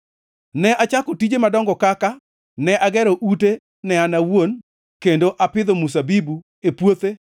Ne achako tije madongo kaka: Ne agero ute ne an awuon kendo apidho mzabibu e puothe.